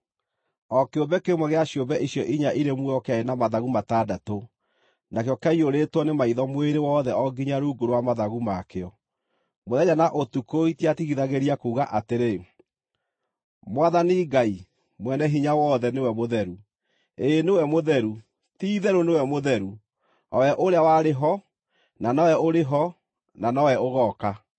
O kĩũmbe kĩmwe gĩa ciũmbe icio inya irĩ muoyo kĩarĩ na mathagu matandatũ, nakĩo kĩaiyũrĩtwo nĩ maitho mwĩrĩ wothe o nginya rungu rwa mathagu ma kĩo. Mũthenya na ũtukũ itiatigithagĩria kuuga atĩrĩ: “Mwathani Ngai, Mwene-Hinya-Wothe nĩwe mũtheru, ĩĩ nĩwe mũtheru, ti-itherũ nĩwe mũtheru, o we ũrĩa warĩ ho, na nowe ũrĩ ho, na nowe ũgooka.”